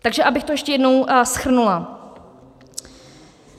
Takže abych to ještě jednou shrnula.